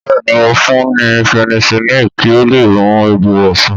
Bẹ́ẹ̀ni, mo fún ni penicilini kí ó leè mu egbò rè san